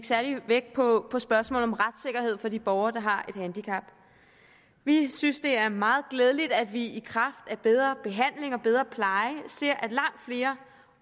særlig vægt på spørgsmålet om retssikkerhed for de borgere der har et handicap vi synes det er meget glædeligt at vi i kraft af bedre behandling og bedre pleje ser at langt flere